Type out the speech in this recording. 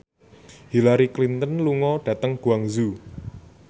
Hillary Clinton lunga dhateng Guangzhou